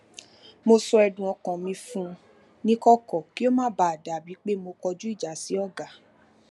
mo sọ ẹdun ọkan mi fun nikọkọ kí ó má bàa dà bíi pé mo kọjú ìjà sí ọga